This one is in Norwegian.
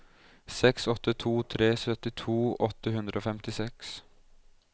seks åtte to tre syttito åtte hundre og femtiseks